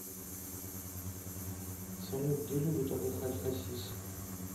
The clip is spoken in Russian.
салют где любит отдыхать хасис